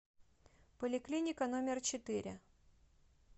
поликлиника номер четыре